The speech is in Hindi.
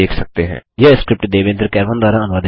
यह स्क्रिप्ट देवेन्द्र कैरवान द्वारा अनुवादित है